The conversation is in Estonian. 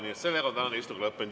Nii et tänane istung on lõppenud.